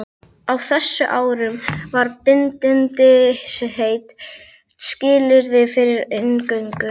Á þessum árum var bindindisheit skilyrði fyrir inngöngu.